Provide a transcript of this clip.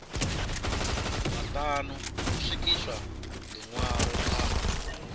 maṱanu ho swikiswa ḽiṅwalo kha